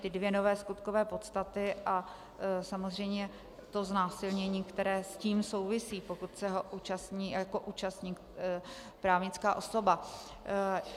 Ty dvě nové skutkové podstaty a samozřejmě to znásilnění, které s tím souvisí, pokud se ho účastní jako účastník právnická osoba.